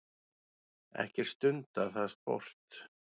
Ekkert stundað það sport.